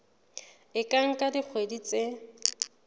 e ka nka dikgwedi tse